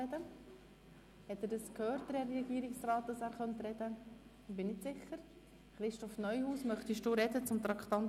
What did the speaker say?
Möchte sich der Regierungsrat zum Traktandum 20 äussern?